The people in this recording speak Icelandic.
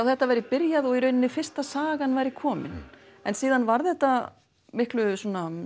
þetta væri byrjað og í rauninni fyrsta sagan væri komin en síðan varð þetta miklu